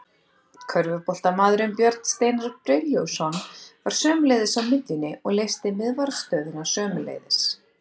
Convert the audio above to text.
Körfuboltamaðurinn Björn Steinar Brynjólfsson var sömuleiðis á miðjunni og leysti miðvarðarstöðuna sömuleiðis.